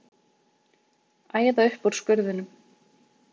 Æða upp úr skurðinum.